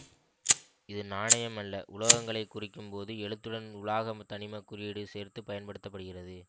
இது நாணயம் அல்ல உலோகங்களை குறிக்கும் போது எழுத்துடன் உலாக தனிமக் குறியீடு சேர்த்து பயன்படுத்த படுகிறது